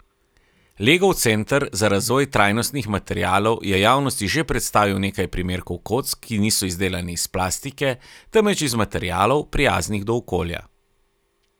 Legov Center za razvoj trajnostnih materialov je javnosti že predstavil nekaj primerkov kock, ki niso izdelane iz plastike, temveč iz materialov, prijaznih do okolja.